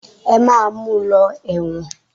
Ẹ máa mu lọ ẹ̀wọ̀n.